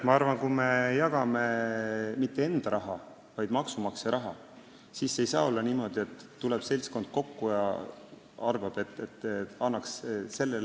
Ma arvan, et kui me jagame mitte enda raha, vaid maksumaksja raha, siis ei saa olla niimoodi, et tuleb seltskond kokku ja arvab, et annaks õige sellele.